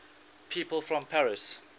people from paris